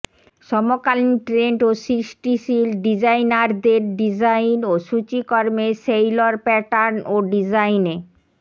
সমকালীন ট্রেন্ড ও সৃষ্টিশীল ডিজাইনারদের ডিজাইন ও সূচিকর্মে সেইলর প্যাটার্ন ও ডিজাইনে